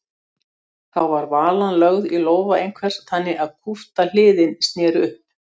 Þá var valan lögð í lófa einhvers þannig að kúpta hliðin sneri upp.